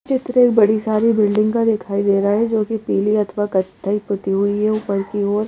चित्र एक बड़ी सारी बिल्डिंग का दिखाई दे रहा है जोकि पीली अथवा कथई पुती हुई है ऊपर की ओर--